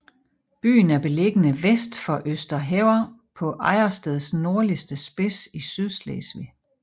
Byen er beliggende vest for Østerhever på Ejdersteds nordvestligste spids i Sydslesvig